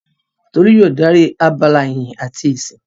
Tolú yóò dárí abala ìyìn àti ìsìn.